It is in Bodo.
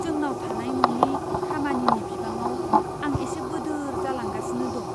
जोंनाव थानाय न'नि खामानिनि बिबाङाव आं एसे बोदोर जालांगासिनो दं।